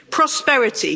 Prosperity.